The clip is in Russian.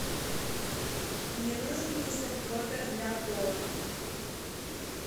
мне нужен мистер пропер для пола